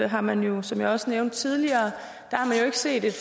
har man jo som jeg også nævnte tidligere ikke set et